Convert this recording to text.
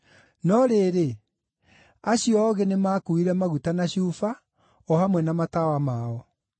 No rĩrĩ, acio oogĩ, nĩmakuuire maguta na cuba, o hamwe na matawa mao.